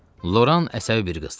Loran əsəbi bir qızdır.